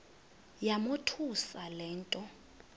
yamothusa le nto